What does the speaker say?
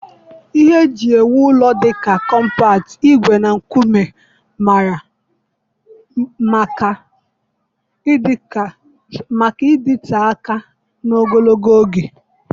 Ihe eji ewu ụlọ dị ka kọmpat, ígwè na nkume mara maka ịdịte aka na ogologo oge